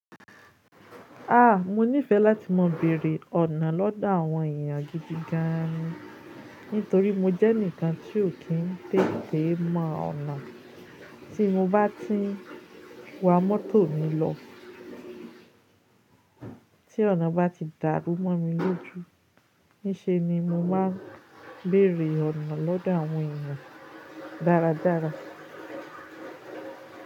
A! Mo nífẹ láti má bèrè ọ̀nà lọ́dọ̀ àwọn èèyàn gidi gan ni. Nítorí mo jẹ́ ẹnìkan tí ò kí n tètè mọ ọ̀nà. Tí mo bá ti wa mọ́tò mi lọ, tí ọ̀nà bá ti dàrú mọ́ mi lójú, ní ṣe ni mo máa béèrè ọ̀nà lọ́dọ̀ àwọn èèyàn dáradára.